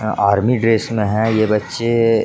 Army dress में है ये बच्चे।